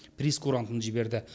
прейскурантын жіберді